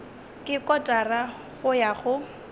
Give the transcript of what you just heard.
ke kotara go ya go